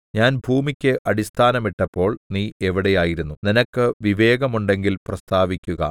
ഞാൻ ഭൂമിക്ക് അടിസ്ഥാനമിട്ടപ്പോൾ നീ എവിടെയായിരുന്നു നിനക്ക് വിവേകമുണ്ടെങ്കിൽ പ്രസ്താവിക്കുക